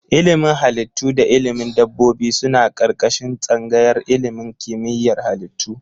Ilimin Halittu da ilimin dabbobi suna ƙarƙashin tsangayar ilimin kimiyyar halittu.